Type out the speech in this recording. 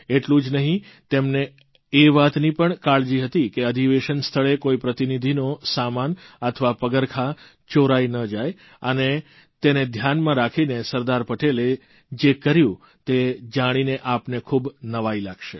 એટલું જ નહિં તેમને એ વાતની પણ કાળજી હતી કે અધિવેશન સ્થળે કોઇ પ્રતિનિધિનો સામાન અથવા પગરખાં ચોરાઇ ન જાય અને તેને ધ્યાનમાં રાખીને સરદાર પટેલે જે કર્યું તે જાણીને આપને ખૂબ નવાઇ લાગશે